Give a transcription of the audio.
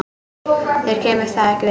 Þér kemur það ekki við.